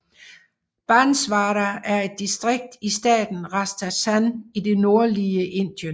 Banswara er et distrikt i staten Rajasthan i det nordlige Indien